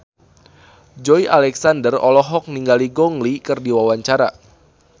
Joey Alexander olohok ningali Gong Li keur diwawancara